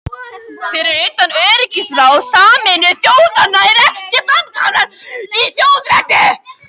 Fyrir utan öryggisráð Sameinuðu þjóðanna er ekkert framkvæmdarvald í þjóðarétti.